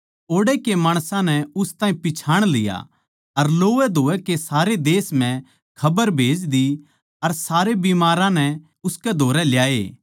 ओड़ै के माणसां नै उस ताहीं पिच्छाण लिया अर लोवैधोवै के सारे देश म्ह खबर खन्दाई अर सारे बिमारां नै उसकै धोरै ल्याए